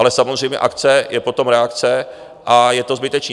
Ale samozřejmě akce, je potom reakce a je to zbytečné.